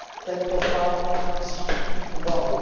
tento fakt vzít v úvahu.